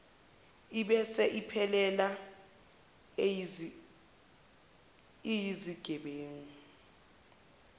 ibese iphelela iyizigebengu